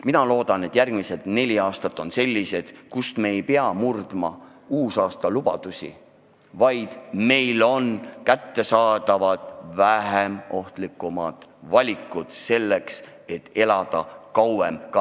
Mina loodan, et järgmised neli aastat on sellised, kus me ei pea murdma uusaastalubadusi, vaid meile on kättesaadavad vähem ohtlikud valikud, kuidas elada kauem.